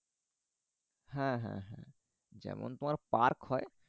হ্যাঁ হ্যাঁ হ্যাঁ যেমন তোমার park হয়